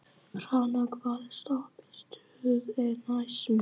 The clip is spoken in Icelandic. Hrannar, hvaða stoppistöð er næst mér?